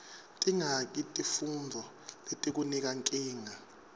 tingaki tifuntfo letikunika nkinga